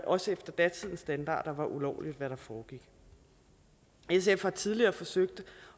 også efter datidens standarder var ulovligt hvad der foregik sf har tidligere forsøgt